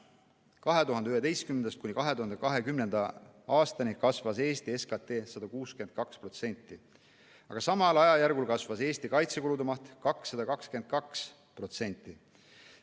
2011.–2020. aastani kasvas Eesti SKT 162%, aga samal ajajärgul kasvas Eesti kaitsekulude maht 222%.